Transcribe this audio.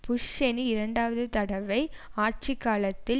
push Cheney இரண்டாவது தடவை ஆட்சிகாலத்தில்